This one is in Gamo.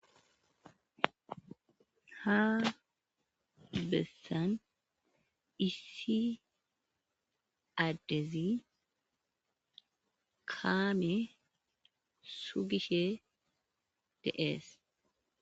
ha bessan issi addezi kaame sugishe deees